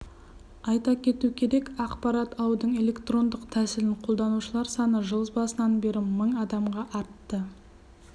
айта кету керек ақпарат алудың электрондық тәсілін қолданушылар саны жыл басынан бері мың адамға артты